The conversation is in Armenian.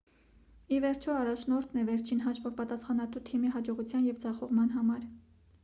ի վերջո առաջնորդն է վերջին հաշվով պատասխանատու թիմի հաջողության և ձախողման համար